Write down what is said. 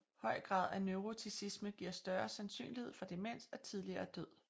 Høj grad af neuroticisme giver større sandsynlighed for demens og tidligere død